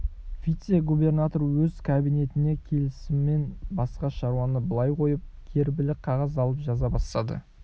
вице-губернатор өз кабинетіне келісімен басқа шаруаны былай қойып гербілі қағаз алып жаза бастады